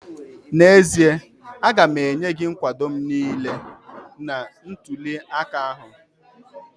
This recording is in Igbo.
N'ezie, aga m enye gị nkwado m niile n'ntụli aka ahụ